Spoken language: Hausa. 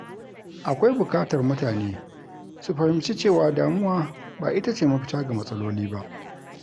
Akwai bukatar mutane su fahimci cewa damuwa ba ita ce mafita ga matsaloli ba.